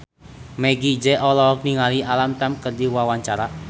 Meggie Z olohok ningali Alam Tam keur diwawancara